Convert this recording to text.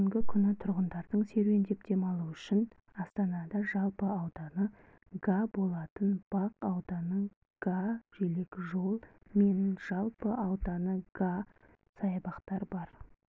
бүгінгі күні тұрғындардың серуендеп демалуы үшін астанада жалпы ауданы га болатын бақ ауданы га желекжол мен жалпы ауданы га саябақ бар